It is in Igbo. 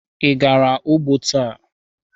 Ị gara ugbo taa?